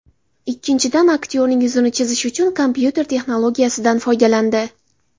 Ikkinchidan, aktyorning yuzini chizish uchun kompyuter texnologiyasidan foydalandi.